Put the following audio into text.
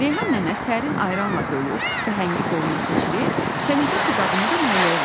Reyhan nənə sərin ayranla dolu səhəngi qoluna keçirib, tənəkə su qabını da Nailəyə verdi.